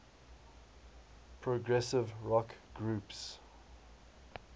progressive rock groups